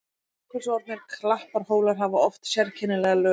Jökulsorfnir klapparhólar hafa oft sérkennilega lögun.